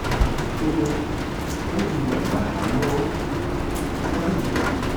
ó ní wọ́n ti wà láhàámọ̀ báyìí